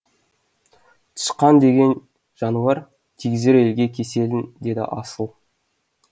тышқан деген жануар тигізер елге кеселін деді асыл